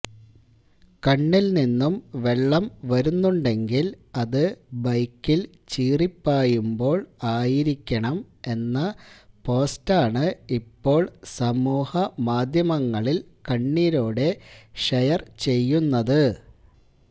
കണ്ണിൽ നിന്നും വെള്ളം വരുന്നുണ്ടെങ്കിൽ അത് ബൈക്കിൽ ചീറിപ്പായുമ്പോൾ ആയിരിക്കണം എന്ന പോസ്റ്റാണ് ഇപ്പോൾ സമൂഹമാധ്യമങ്ങളിൽ കണ്ണീരോടെ ഷെയർ ചെയ്യുന്നത്